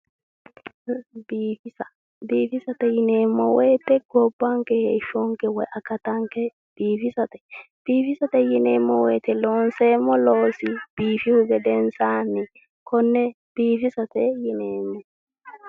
Biifisate yineemmo woyite gobbanke woy heeshonke biifisate biifisate yineemmo woyite loonsoonni loosi biifihu gedensaanni konne biifisate yineemmo.